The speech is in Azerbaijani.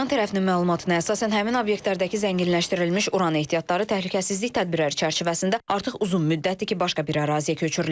İran tərəfinin məlumatına əsasən həmin obyektlərdəki zənginləşdirilmiş uran ehtiyatları təhlükəsizlik tədbirləri çərçivəsində artıq uzun müddətdir ki, başqa bir əraziyə köçürülüb.